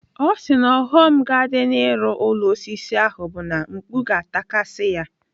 Ọ sị na ọghọm ga-adị n'ịrụ ụlọ osisi ahụ bụ na mkpu ga-atakasị ya.